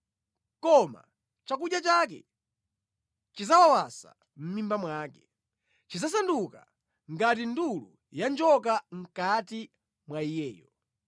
koma chakudya chake chidzawawasa mʼmimba mwake; chidzasanduka ngati ndulu ya njoka mʼkati mwa iyeyo.